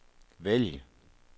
vælg